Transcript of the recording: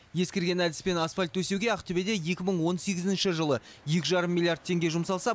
ескірген әдіспен асфальт төсеуге ақтөбеде екі мың он сегізінші жылы екі жарым миллиард теңге жұмсалса